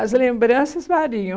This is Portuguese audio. As lembranças variam.